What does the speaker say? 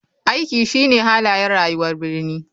Aiki shine halayen rayuwar birni.